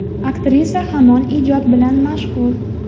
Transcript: Aktrisa hamon ijod bilan mashg‘ul.